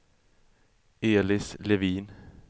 Elis Levin